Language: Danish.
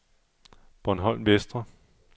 Bornholm Vestre